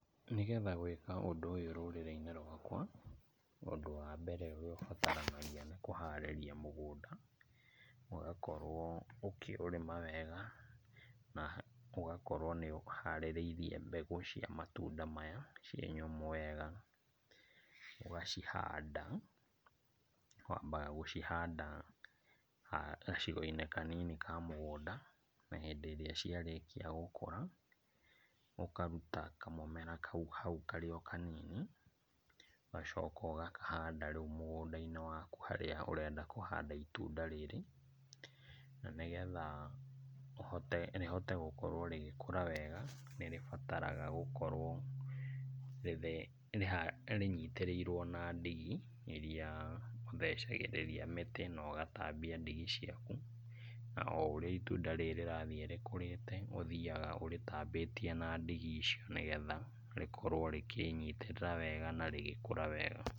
Nĩgetha gwĩka ũndũ ũyũ rũrĩrĩ-inĩ rwakwa, ũndũ wa mbere ũrĩa ũbataranagia nĩ kũharĩrĩria mũgũnda, ũgakorwo ũkĩũrima wega na ũgakorwo nĩ ũharĩrĩirie mbegũ cia matunda maya ciĩ nyũmũ wega. Ũgacihanda, wambaga gũchanda gacigo-inĩ kanini ka mũgũnda na hĩndĩ ĩrĩa ciarĩkia gũkũra, ũkaruta kamũmera kau hau karĩ o kanini, ũgacoka ũgakahanda rĩu mũgũnda-inĩ waku harĩa ũrenda kũhanda itunda rĩrĩ. Na nĩ getha rĩhote gũkorwo rĩgĩkũra wega nĩ rĩbataraga gũkorwo rĩnyitĩrĩirwo na ndigi, iria ũthecagĩriria mĩtĩ na ũgatambia ndigi ciaku, o ũrĩa itunda rĩrĩ rĩrathiĩ rĩkũrĩte, ũthiaga ũrĩtambĩtie na ndigi icio, nĩ getha rĩkorwo rĩkĩnyitĩrĩra wega na rĩgĩkũra wega.